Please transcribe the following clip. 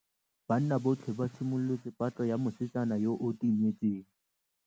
Banna botlhê ba simolotse patlô ya mosetsana yo o timetseng.